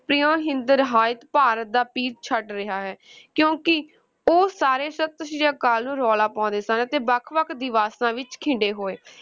ਹਿੰਦ ਰਹਾਇਤ, ਭਾਰਤ ਦਾ ਪੀਰ ਛੱਡ ਰਿਹਾ ਹੈ ਕਿਉਂਕਿ ਉਹ ਸਾਰੇ ਸਤਿ ਸ਼੍ਰੀ ਅਕਾਲ ਨੂੰ ਰੌਲਾ ਪਾਉਂਦੇ ਸਨ ਅਤੇ ਵੱਖ ਵੱਖ ਦਿਸ਼ਾਵਾਂ ਵਿੱਚ ਖਿੰਡੇ ਹੋਏ,